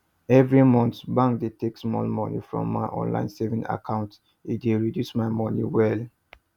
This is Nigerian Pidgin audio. every month bank dey take small money from my online saving account e dey reduce my money well